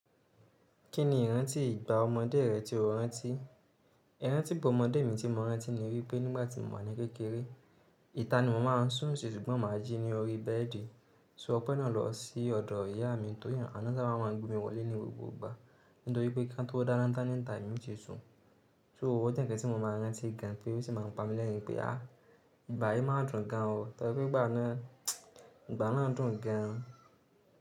Kí ni ìrántí ìgbà ọmọdé rẹ tí o rántí? Ìrántí ìgbà ọmọdé mi tí mo rántí ni wípé nígbà tí mo wà ní kékeré, ìta ni mo máa ń sùn sí ṣùgbọ́n màá jí ní orí bẹ́ẹ̀dì. So ọpẹ́ náà lọ sí ọ̀dọ̀ ìyá mi tó yàn, àná ṣé máa ń gbin wọlé ní gbogbo ìgbà, nítorí pé kíá tó dáná ńta níta yìí mi ti sùn. So òwọ́ jẹ́ nkán tí mo máa ń rántí gan an pé ó sì máa ń pa mi lẹ́rin pé, "à, ìgbà yìí máa dùn gan an o." Torí pé ìgbà náà, ìgbà náà dùn gan an.